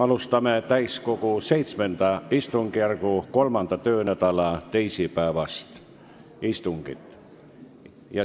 Alustame täiskogu VII istungjärgu 3. töönädala teisipäevast istungit.